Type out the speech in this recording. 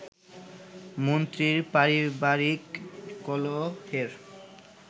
মন্ত্রীর পারিবারিক কলহের